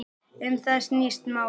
Um það snýst málið.